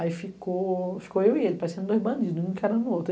Aí ficou eu e ele, parecendo dois bandidos, um encarando o outro.